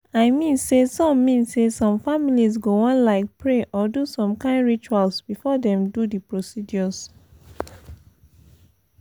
i mean say some mean say some families go wan like pray or do some kain rituals before dem do the procedures.